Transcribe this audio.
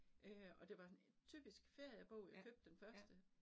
Øh og det var sådan typisk feriebog, jeg købte den første